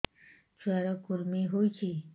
ଛୁଆ ର କୁରୁମି ହୋଇଛି